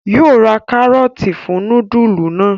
Yóó rà karọọti fún nudulu náa